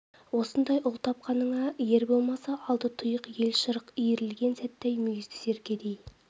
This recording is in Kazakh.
осындай ұл тапқаныңа ер болмаса алды тұйық ел шырқ иірілген сәтте ай мүйізді серкедей